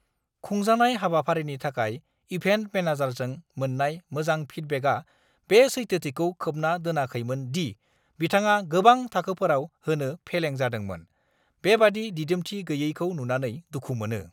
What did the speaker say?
खुंजानाय हाबाफारिनि थाखाय इभेन्ट मेनेजारजों मोन्नाय मोजां फिडबेकआ बे सैथोथिखौ खोबना दोनाखैमोन दि बिथाङा गोबां थाखोफोराव होनो फेलें जादोंमोन। बेबादि दिदोमथि गैयैखौ नुनानै दुखु मोनो।